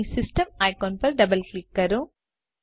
અહીં system icon પર double click કરો